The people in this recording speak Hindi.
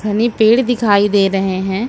हमें पेड़ दिखाई दे रहे हैं।